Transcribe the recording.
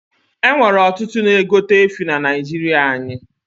E nwere ọtụtụ na egote efi na naijiria anyi